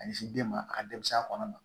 Ka ɲɛsin den ma ka dɛsɛ a kɔnɔ ma